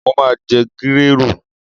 Mo ma jẹ gírèrù.